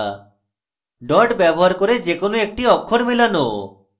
dot ব্যবহার করে যে কোনো একটি অক্ষর মেলানো